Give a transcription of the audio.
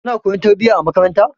Kuna koyon tarbiyya a makaranta.